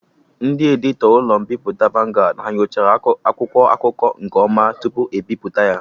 Ndị editọ ụlọ mbipụta Vanguard ha nyochara akwụkwọ akụkọ nke ọma tupu ebipụta ya?